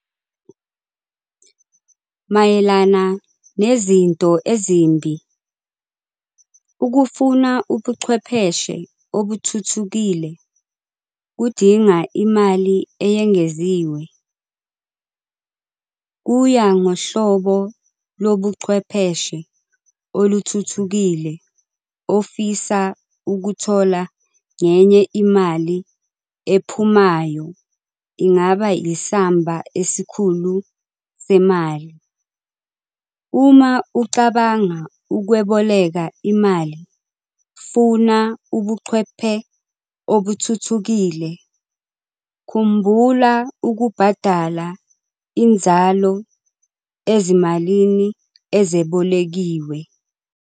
Mayelana nezinto ezimbi, ukufuna ubuchwepheshe obuthuthukile kudinga imali eyengeziwe. Kuya ngohlobo lobuchwepheshe oluthuthukile ofisa ukuthola ngenye imali ephumayo ingaba yisamba esikhulu semali. Uma ucabanga ukweboleka imali funa ubuchwephe obuthuthukile, khumbula ukubhadala inzalo ezimalini ezebolekiwe.